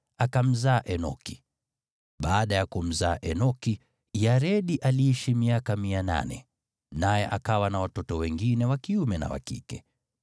Baada ya kumzaa Enoki, Yaredi aliishi miaka 800, naye akawa na watoto wengine wa kiume na wa kike.